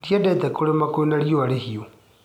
Ndiendete kũrĩma kwĩna riũa ihiũ.